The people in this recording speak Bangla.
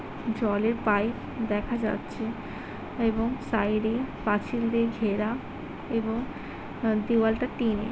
জলে পাইপ দেখা যাচ্ছে এবং সাইডে পাচিল দিয়ে ঘেরা এবং দেওয়াটা টিন।